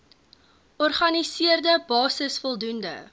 organiseerde basis voldoende